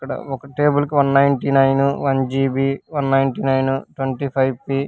అక్కడ ఒక టేబుల్ కి one ninety nine one GB one ninety nine twenty five P .